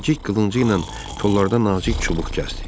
Zərrəcik qılıncı ilə kollardan nazik çubuq kəsdi.